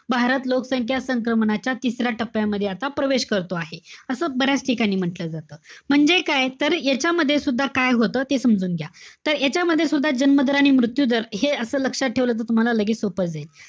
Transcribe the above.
भारत लोकसंख्या संक्रमणाच्या तिसऱ्या टप्प्यामध्ये आता प्रवेश करतो आहे. असं बऱ्याच ठिकाणी म्हंटल जात. म्हणजे काय? तर यांच्यामध्ये सुद्धा काय होतं, ते समजून घ्या. तर यांच्यामध्ये सुद्धा, जन्म दर आणि मृत्यू दर हे असं लक्षात ठेवलं तर तुम्हाला लगेच सोपं जाईल.